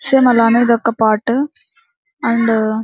same అలానే అనేది ఒక పార్ట్ అండ్ --